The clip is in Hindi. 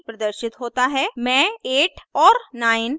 मैं 8 और 9 एंटर करुँगी